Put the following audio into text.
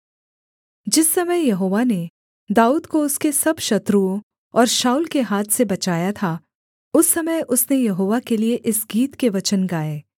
जिस समय यहोवा ने दाऊद को उसके सब शत्रुओं और शाऊल के हाथ से बचाया था उस समय उसने यहोवा के लिये इस गीत के वचन गाए